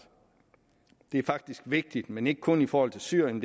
det er faktisk vigtigt men ikke kun i forhold til syrien